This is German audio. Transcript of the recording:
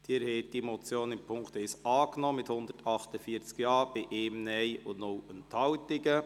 Sie haben diese Motion im Punkt 1 angenommen, mit 148 Ja-Stimmen gegen 1 NeinStimme bei 0 Enthaltungen.